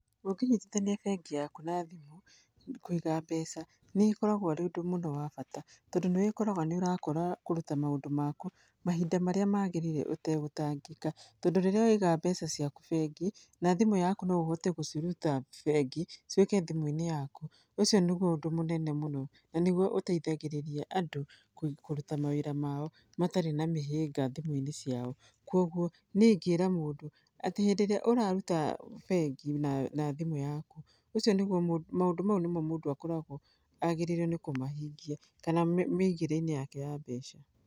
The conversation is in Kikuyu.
Ũngĩnyitithania bengi yaku na thimũ, kũiga mbeca nĩ ũkaragwo arĩ ũndũ mũno wa bata, tondũ nĩ ũkoraga nĩ ũrakorwo kũruta maũndũ maku mahinda marĩa maagĩrĩire ũtegũtangĩka. Tondũ rĩrĩa waiga mbeca ciaku bengi, na thimũ yaku no ũhote gũciruta bengi ciũke thimũ-inĩ yaku, ũcio nĩguo ũndũ mũnene mũno, na nĩguo ũteithagĩrĩria andũ kũruta mawĩra mao matarĩ na mĩhĩnga thimũ-inĩ ciao. Kuũguo niĩ ingĩra mũndũ atĩ hĩndĩ ĩrĩa ũraruta bengi nathimũ yaku, ũcio nĩguo mũndũ, maũndũ mau nĩmo mũndũ akoragwo agĩrĩire nĩ kũmahingia, kana mĩigĩre-inĩ yake ya mbeca.